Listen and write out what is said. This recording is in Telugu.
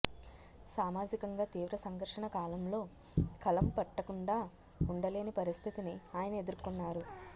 సామాజికంగా తీవ్ర సంఘర్షణ కాలంలో కలం పట్టకుండా ఉండలేని పరిస్థితిని ఆయన ఎదుర్కొన్నారు